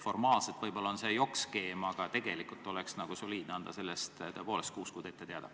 Formaalselt võib-olla see on jokk-skeem, aga tegelikult oleks soliidne anda sellest tõepoolest kuus kuud ette teada.